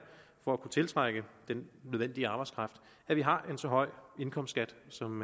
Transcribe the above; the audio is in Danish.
for at kunne tiltrække den nødvendige arbejdskraft at vi har en så høj indkomstskat som